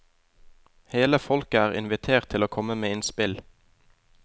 Hele folket er invitert til å komme med innspill.